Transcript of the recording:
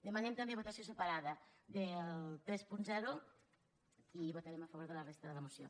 demanem també votació separada del trenta i votarem a favor de la resta de la moció